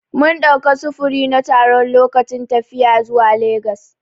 Mun ɗauka sufuri na taro lokacin tafiya zuwa legas.